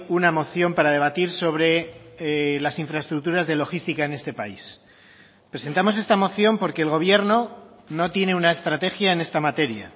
una moción para debatir sobre las infraestructuras de logística en este país presentamos esta moción porque el gobierno no tiene una estrategia en esta materia